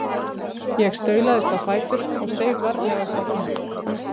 Ég staulaðist á fætur og steig varlega upp á rúmið.